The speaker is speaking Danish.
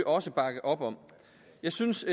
også bakke op om jeg synes